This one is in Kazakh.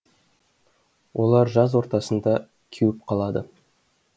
олар жаз ортасында кеуіп қалады